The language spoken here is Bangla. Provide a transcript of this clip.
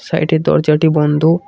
সাইডে দরজাটি বন্ধ।